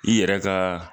I yɛrɛ ka